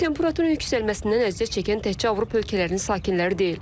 Temperaturun yüksəlməsindən əziyyət çəkən təkcə Avropa ölkələrinin sakinləri deyil.